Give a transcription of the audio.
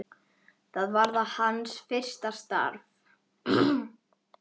Það var hans fyrsta starf.